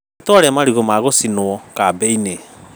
Nĩtwarĩa marigũ ma gũcinwo kambĩ-inĩ